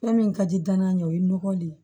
Fɛn min ka di danaya ɲɛ o ye nɔgɔ le ye